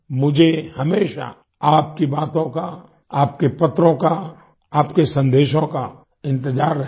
मुझे हमेशा आपकी बातों का आपके पत्रों का आपके संदेशों का इंतज़ार रहेगा